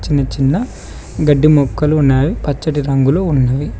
చిన్న గడ్డి మొక్కలు ఉన్నవి పచ్చటి రంగులు ఉన్నాయి.